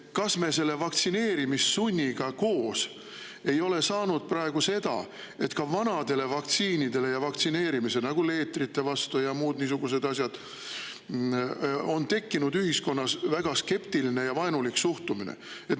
Kas me selle vaktsineerimissunniga koos ei ole praegu saanud selle, et ka vanade vaktsiinide suhtes, nagu leetrite vastu ja muud niisugused asjad, on tekkinud ühiskonnas väga skeptiline ja vaenulik suhtumine?